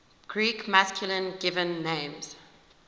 greek masculine given names